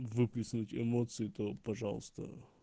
выплеснуть эмоции то пожалуйста